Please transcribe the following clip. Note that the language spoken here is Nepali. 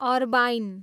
अर्बाइन